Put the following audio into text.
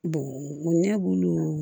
ɲɛ bulu